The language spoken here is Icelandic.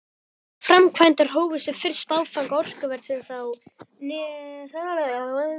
Framkvæmdir hófust við fyrsta áfanga orkuversins á Nesjavöllum snemma árs.